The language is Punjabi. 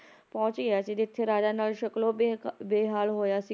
ਪਹੁੰਚ ਗਿਆ ਸੀ ਜਿੱਥੇ ਰਾਜਾ ਨਲ ਸ਼ਕਲੋਂ ਬੇ~ ਬੇਹਾਲ ਹੋਇਆ ਸੀ